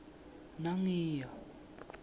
nangiya